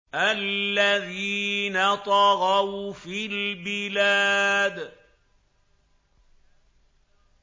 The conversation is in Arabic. الَّذِينَ طَغَوْا فِي الْبِلَادِ